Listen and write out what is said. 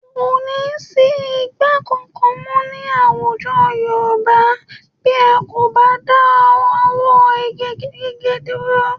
Kò ní sí igbó kankan mọ́ ní àwùjọ Yorùbá bí a kò bá dáwọ́ igi gíge dúró